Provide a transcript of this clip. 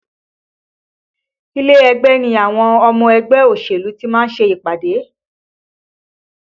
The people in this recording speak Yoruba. Ilé ẹgbẹ́ ni àwọn ọmọ ẹgbẹ́ òṣèlú tí ma ń ṣe ìpàdé